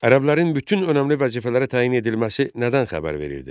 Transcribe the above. Ərəblərin bütün önəmli vəzifələrə təyin edilməsi nədən xəbər verirdi?